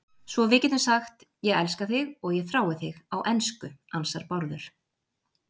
Svo við getum sagt, ég elska þig og ég þrái þig á ensku, ansar Bárður.